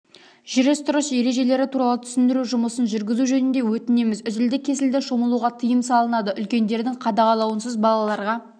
жүріс-тұрыс ережелері туралы түсіндіру жұмысын жүргізу жөнінде өтінеміз үзілді-кесілді шомылуға тыйым салынады үлкендердің қадағалаусыз балаларға